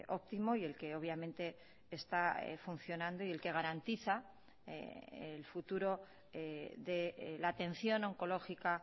óptimo y el que obviamente está funcionando y el que garantiza el futuro de la atención oncológica